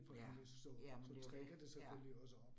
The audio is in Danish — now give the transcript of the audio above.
Ja, jamen det jo det, ja